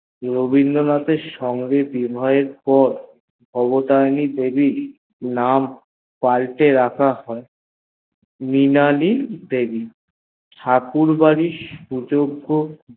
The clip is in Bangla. রবীন্দ্রনাথ এর সঙ্গে বিবাহের পর ভবতারিণী দেবীর নাম পাল্টে রাখা হয়ে মৃণালিনী দেবী ঠাকুর বড়ির সুযোগগ